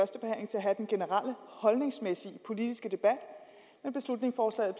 have den generelle holdningsmæssige politiske debat men beslutningsforslaget